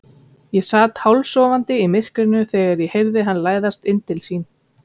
Ég sat hálfsofandi í myrkrinu þegar ég heyrði hann læðast inn til sín.